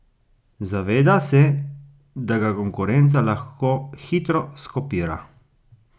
Zaveda se, da ga konkurenca lahko hitro skopira.